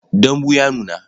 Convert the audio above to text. Dambu ya nuna.